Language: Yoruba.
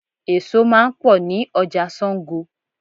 Èso máa ń pọ ni ọjà Sango.